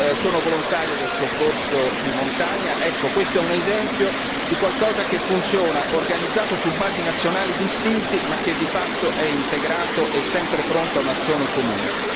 Sono volontario del soccorso di montagna, questo è un esempio di qualcosa che funziona, organizzato su basi nazionali distinte ma che, di fatto, è integrato e sempre pronto a un'azione comune.